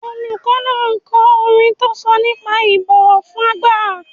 Olùkọ́ náà ko orin tó sọ nípa ìbọ̀wọ̀ fún àgbà.